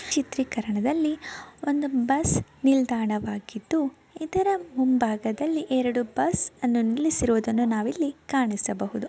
ಈ ಚಿತ್ರೀಕರಣದಲ್ಲಿ ಒಂದು ಬಸ್ ನಿಲ್ದಾಣವಾಗಿದ್ದು ಇದರ ಮುಂಭಾಗದಲ್ಲಿ ಎರಡು ಬಸ್ ಅನ್ನು ನಿಲ್ಲಿಸಿರುವುದನ್ನು ನಾವು ಇಲ್ಲಿ ಕಾಣಿಸಬಹುದು.